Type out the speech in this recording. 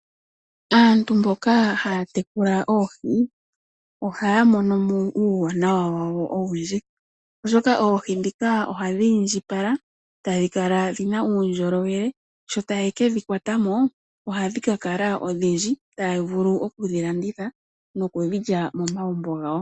Aantu mboka haya tekula oohi ohaya mono mo uuwanawa wawo owundji oshoka oohi dhika ohadhi indjipala tadhi kala dhina uundjolowele sho taye kedhi kwatamo ohadhi ka kala odhindji taya vulu oku dhilanditha nokudhi lya momagumbo gawo.